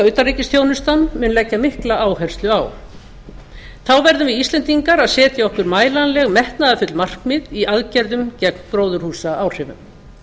utanríkisþjónustan mun leggja mikla áherslu á þá verðum við íslendingar setja okkur mælanleg metnaðarfull markmið í aðgerðum gegn gróðurhúsaáhrifum